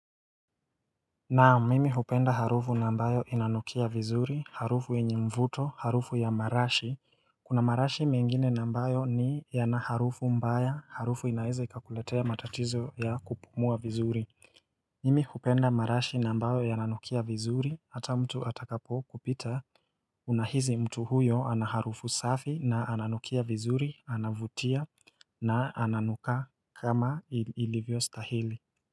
Naam mimi hupenda harufu nambayo inanukia vizuri, harufu enye mvuto, harufu ya marashi, kuna marashi mengine nambayo ni yanaharufu mbaya, harufu inaea ikakuletea matatizo ya kupumua vizuri Mimi hupenda marashi nambayo yananukia vizuri, hata mtu atakapo kupita, unahizi mtu huyo anaharufu safi na ananukia vizuri, anavutia na ananuka kama ilivyo stahili.